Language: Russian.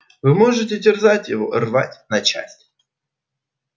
вы можете терзать его рвать на части